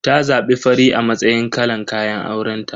Ta zabi fari a matsayin kalan kayan aurenta.